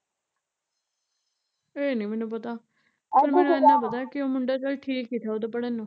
ਏਹ ਨੀ ਮੈਨੂੰ ਪਤਾ ਪਰ ਮੈਨੂੰ ਏਨਾਂ ਪਤਾ ਕਿ ਉਹ ਮੁੰਡਾ ਚੱਲ ਠੀਕ ਈ ਥਾ ਉਦਾ ਪੜਨ ਨੂੰ